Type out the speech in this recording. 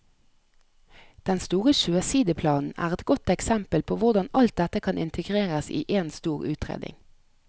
Den store sjøsideplanen er et godt eksempel på hvordan alt dette kan integreres i en stor utredning.